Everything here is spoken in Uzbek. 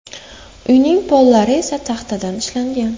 Uyning pollari esa taxtadan ishlangan.